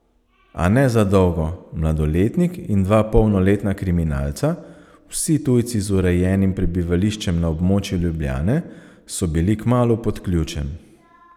A ne za dolgo, mladoletnik in dva polnoletna kriminalca, vsi tujci z urejenim prebivališčem na območju Ljubljane, so bili kmalu pod ključem.